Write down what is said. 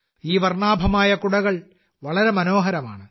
ഈ വർണ്ണാഭമായ കുടകൾ വളരെ മനോഹരമാണ്